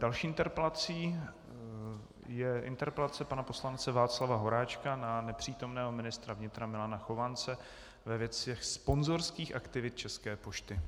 Další interpelací je interpelace pana poslance Václava Horáčka na nepřítomného ministra vnitra Milana Chovance ve věci sponzorských aktivit České pošty.